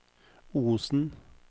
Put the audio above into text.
Osen